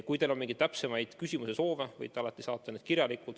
Kui teil on täpsemaid küsimusi, võite alati saata need kirjalikult.